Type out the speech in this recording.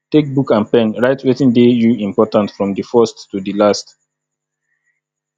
take book and pen write wetin dey you important from di first to di last